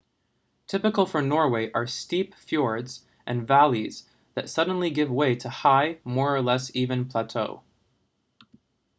typical for norway are steep fjords and valleys that suddenly give way to a high more or less even plateau